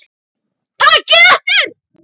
Takið eftir!